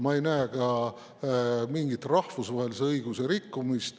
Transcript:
Ma ei näe ka mingit rahvusvahelise õiguse rikkumist.